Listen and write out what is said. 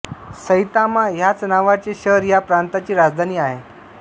Saitama ह्याच नावाचे शहर ह्या प्रांताची राजधानी आहे